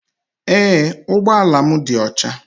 Ee ụgbọ ala m dị ọcha